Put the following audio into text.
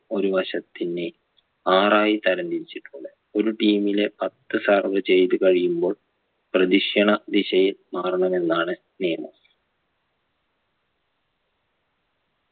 ഒരു വശത്തിന് ആറായി തരം തിരിച്ചിട്ടുണ്ട് ഒരു team ലെ പത്ത് serve ചെയ്ത് കഴിയുമ്പോൾ പ്രതിക്ഷിണ ദിശയിൽ മാറണമെന്നാണ് നിയമം